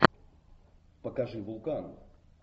покажи вулкан